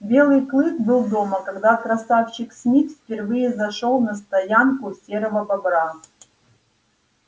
белый клык был дома когда красавчик смит впервые зашёл на стоянку серого бобра